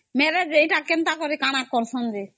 ଅମ୍ କାନା କରୁସନ ଯେ